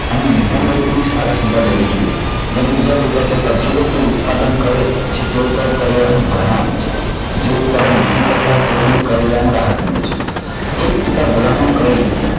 અને નિર્ધન લોકોની સાર સંભાળ લેવી જોઈએ. જ્યારે બીજા પિતા કહેતા કે જે લોકો ઉત્પાદન કરે છે, તે લોકોનું પર ભારણ આવે છે. જેઓ ઉત્પાદન નથી કરતા તેઓને કરવેરામાં રાહત મળે છે. એક પિતા ભલામણ કરીને